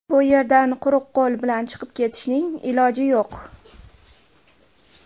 Bu yerdan quruq qo‘l bilan chiqib ketishning iloji yo‘q!